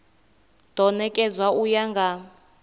do nekedzwa u ya nga